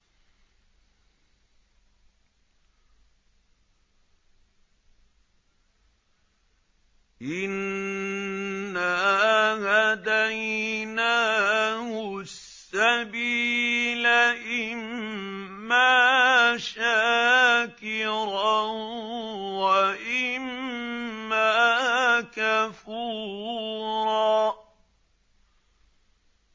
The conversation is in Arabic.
إِنَّا هَدَيْنَاهُ السَّبِيلَ إِمَّا شَاكِرًا وَإِمَّا كَفُورًا